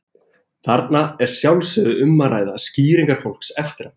Þarna er að sjálfsögðu um að ræða skýringar fólks eftir á.